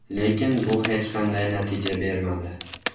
Lekin bu hech qanday natija bermadi.